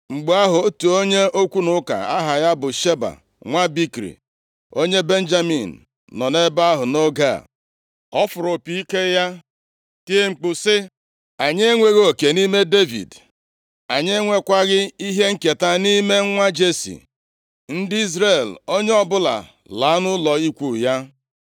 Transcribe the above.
Mgbe ahụ, otu onye okwu na ụka, aha ya bụ Sheba, nwa Bikri, onye Benjamin nọ nʼebe ahụ nʼoge a. Ọ fụrụ opi ike ya tie mkpu sị, “Anyị enweghị oke nʼime Devid, anyị enwekwaghị ihe nketa nʼime nwa Jesi. Ndị Izrel, onye ọbụla laa nʼụlọ ikwu ya!”